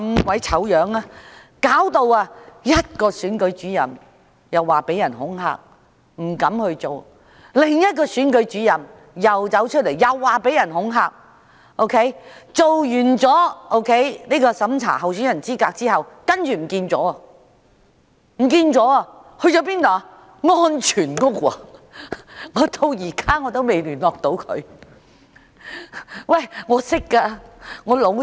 試想一想，一名選舉主任因遭恐嚇而不敢再做下去，另一名選舉主任出來指自己曾被恐嚇，完成審查候選人資格後，更失了蹤，原來她已入住安全屋，我至今仍未能跟她聯絡，她是我的好朋友。